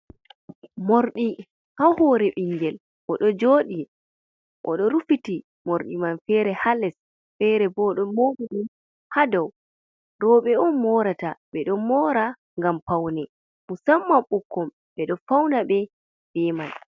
Mordi ha hore ɓingel oɗo joɗi oɗo rufiti morɗi man fere ha les fere bo oɗo mobi ɗum ha dow roɓɓe on morata, ɓeɗo mora ngam paune musammam ɓukkon ɓe ɗo fauna be man.